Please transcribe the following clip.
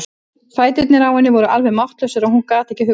Fæturnir á henni voru alveg máttlausir og hún gat ekki hugsað.